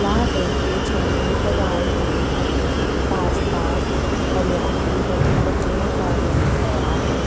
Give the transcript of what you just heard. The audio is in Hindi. ला रंग के झंडे लगाए हुए हैं आसपास हरियाली है पत्तियों का रंग हरा है।